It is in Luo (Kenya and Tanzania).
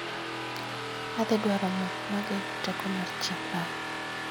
Adhi dwaro mo mageng'o tako mar chieng' bang'e